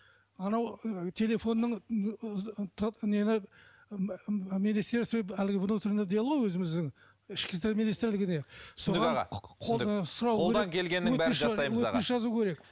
анау ы телефонның нені министерство әлі внутренних дел ғой өзіміздің ішкі істер министрлігіне қолдан келгеннің бәрін жасаймыз